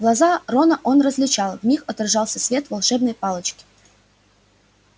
глаза рона он различал в них отражался свет волшебной палочки